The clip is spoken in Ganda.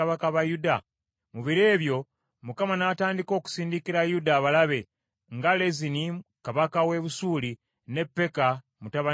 Mu biro ebyo Mukama n’atandika okusindikira Yuda abalabe nga Lezini kabaka w’e Busuuli ne Peka mutabani wa Lemaliya.